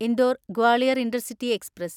Indore Gwalior intercity express